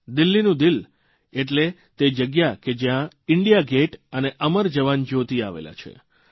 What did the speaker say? દિલ્હીનું દિલ એટલે તે જગ્યા કે જયાં ઇન્ડિયાગેટ અને અમર જવાન જયોતિ આવેલા છે